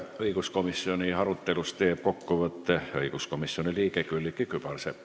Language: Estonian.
Õiguskomisjoni arutelust teeb kokkuvõtte õiguskomisjoni liige Külliki Kübarsepp.